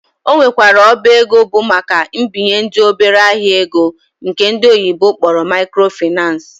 Ọ nwekwara ọba ego bụ maka ibinyendị obere ahịa ego nke ndi oyibo kpọrọ microfinace